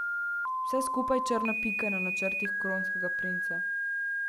Vse skupaj je črna pika na načrtih kronskega princa.